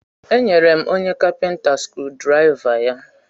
E nyere m onye kapinta skrudraịva ya.